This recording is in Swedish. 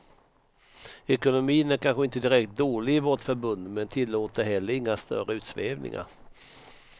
Ekonomin är kanske inte direkt dålig i vårt förbund, men tillåter heller inga större utsvävningar.